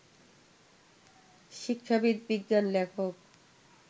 শিক্ষাবিদ, বিজ্ঞান লেখক